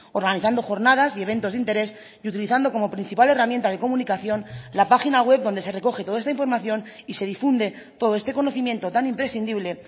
organizando jornadas y eventos de interés y utilizando como principal herramienta de comunicación la página web donde se recoge toda esta información y se difunde todo este conocimiento tan imprescindible